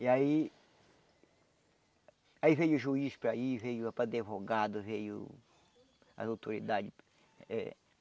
E aí... Aí veio o juiz para ir, veio o advogado, veio as autoridades. Eh